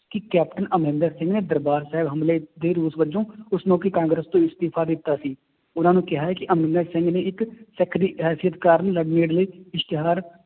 ਕਿ ਕੈਪਟਨ ਅਮਰਿੰਦਰ ਸਿੰਘ ਨੇ ਦਰਬਾਰ ਸਾਹਿਬ ਹਮਲੇ ਦੇ ਰੋਸ ਵਜੋਂ ਉਸ ਮੌਕੇ ਕਾਂਗਰਸ ਤੋਂ ਅਸਤੀਫ਼ਾ ਦਿੱਤਾ ਸੀ, ਉਹਨਾਂ ਨੂੰ ਕਿਹਾ ਹੈ ਕਿ ਅਮਰਿੰਦਰ ਸਿੰਘ ਨੇ ਇੱਕ ਸਿੱਖ ਦੀ ਅਹ ਇਸ਼ਤਿਹਾਰ